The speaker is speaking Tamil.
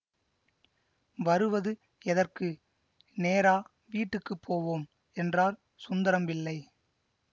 வருவது எதற்கு நேரா வீட்டுக்கு போவோம் என்றார் சுந்தரம் பிள்ளை